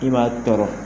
I b'a tɔɔrɔ